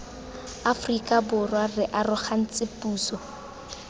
aforika borwa re arogantse puso